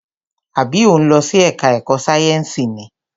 Àbí o ń lọ sí ẹka ẹ̀kọ́ sáyẹnsì ni?